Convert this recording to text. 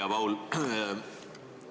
Hea Paul!